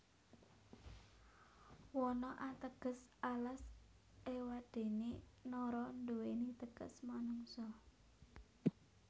Wana ateges alas ewadene Nara nduweni teges manungsa